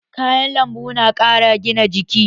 Kayan lambu na ƙara gina jiki.